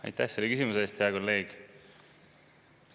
Aitäh selle küsimuse eest, hea kolleeg!